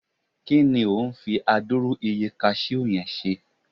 ki ni o n fi aduru iye cashew yen ṣe